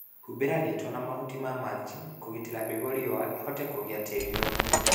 Humbĩra gĩito na mahuti ma mulching'i kũgitĩra mbegũ riũa ihio na kũiga tĩri na ũgunyu